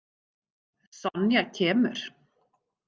Sonja kemur.